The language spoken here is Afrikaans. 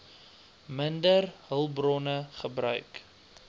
minder hulpbronne gebruik